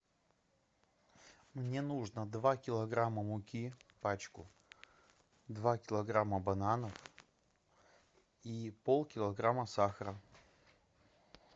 мне нужно два килограмма муки пачку два килограмма бананов и полкилограмма сахара